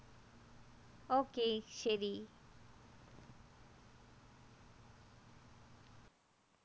ok ശരി